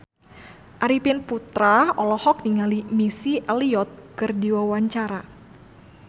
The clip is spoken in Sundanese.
Arifin Putra olohok ningali Missy Elliott keur diwawancara